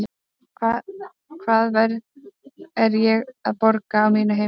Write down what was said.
Hvaða verð er ég að borga á mínu heimili?